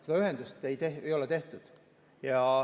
Seda ühendust ei ole tehtud.